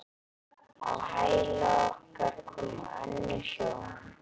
Á hæla okkar komu önnur hjón.